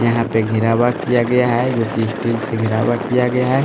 यहां पे घिरावा किया गया है जो कि स्टील घिरावा किया गया है।